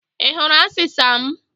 I hụrụ asịsa m?